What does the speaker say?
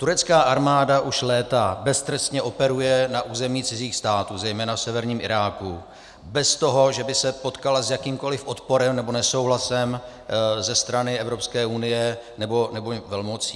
Turecká armáda už léta beztrestně operuje na území cizích států, zejména v severním Iráku, bez toho, že by se potkala s jakýmkoli odporem nebo nesouhlasem ze strany Evropské unie nebo velmocí.